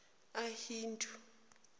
ahindu